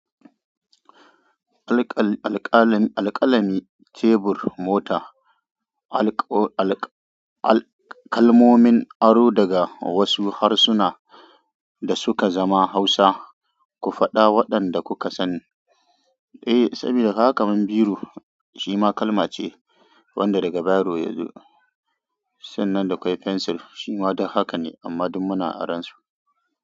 Alƙa-alƙalamin tebur, mota, alƙo-alƙa-alƙa kalmomin aro daga wasu harsuna da suka zama Hausa. Ku faɗa waɗanda kuka san. Eh, sabida kaga kaman biro. Shima kalmace wanda daga bairo yazo sanna da kwai pencil shima duk haka ne amma duk muna aran su.